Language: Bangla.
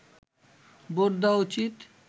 ভোট দেওয়া উচিত